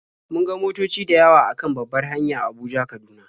Mun ga motoci da yawa a kan babbar hanya Abuja-Kaduna.